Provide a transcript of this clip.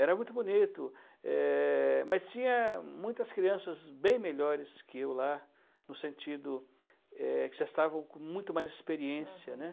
Era muito bonito, eh... mas tinha muitas crianças bem melhores que eu lá, no sentido, eh, que já estavam com muito mais experiência. Aham